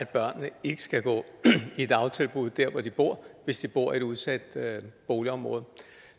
at børnene ikke skal gå i dagtilbud der hvor de bor hvis de bor i udsatte boligområder